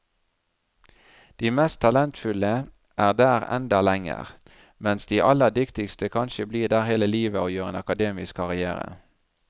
De mest talentfulle er der enda lenger, mens de aller dyktigste kanskje blir der hele livet og gjør en akademisk karrière.